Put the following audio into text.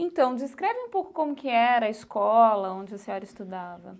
Então, descreve um pouco como que era a escola onde a senhora estudava.